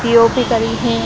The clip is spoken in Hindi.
पी.ओ.पी. करी है।